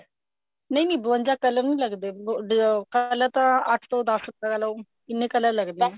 ਨਹੀਂ ਨਹੀਂ ਬਵੰਜਾ color ਨਹੀਂ ਲੱਗਦੇ color ਤਾਂ ਅੱਠ ਤੋਂ ਦੱਸ ਕਹਿਲੋ ਇੰਨੇ color ਲੱਗਦੇ ਹੈ